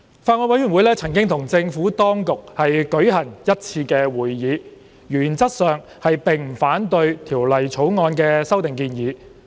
法案委員會曾與政府當局舉行1次會議，原則上並不反對《條例草案》的修訂建議。